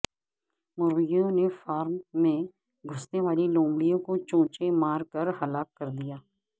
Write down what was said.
مرغیوں نے فارم میں گھسنے والی لومڑی کو چونچیں مار کر ہلاک کر دیا